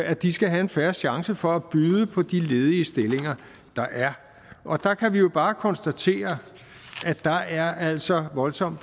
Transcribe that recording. at de skal have en fair chance for at byde på de ledige stillinger der er og der kan vi jo bare konstatere at der altså er voldsom